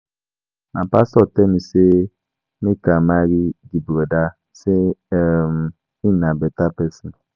Na pastor tell me sey make I marry di broda, sey um him na beta pesin.